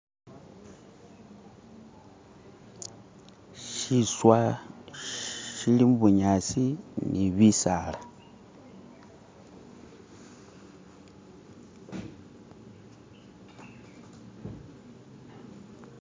Shiswa shili mubunyasi ni bisala.